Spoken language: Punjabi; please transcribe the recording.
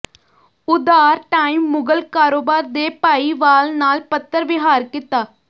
ਉਧਾਰ ਟਾਈਮ ਮੁਗਲ ਕਾਰੋਬਾਰ ਦੇ ਭਾਈਵਾਲ ਨਾਲ ਪੱਤਰ ਵਿਹਾਰ ਕੀਤਾ